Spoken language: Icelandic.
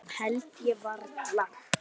Það held ég varla.